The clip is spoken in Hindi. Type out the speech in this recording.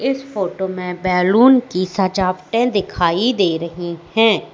इस फोटो में बैलून की सजावटें दिखाई दे रही हैं।